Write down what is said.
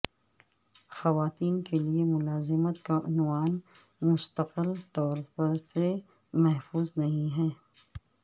خواتین کے لئے ملازمت کا عنوان مستقل طور سے محفوظ نہیں ہے